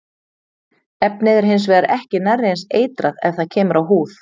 Efnið er hins vegar ekki nærri eins eitrað ef það kemur á húð.